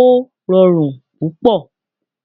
ó rọrùn púpọ̀